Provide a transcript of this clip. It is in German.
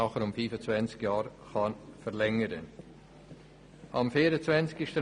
Dieser kann anschliessend um 25 Jahre verlängert werden.